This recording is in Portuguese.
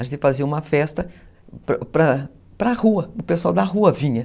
A gente fazia uma festa para para a rua, o pessoal da rua vinha.